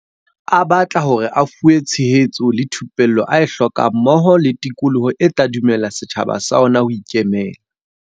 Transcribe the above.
A batla hore a fuwe tshe hetso le thupello a e hlokang mmoho le tikoloho e tla dumella setjhaba sa ona ho ikemela.